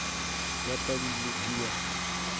ya padi ye ke ya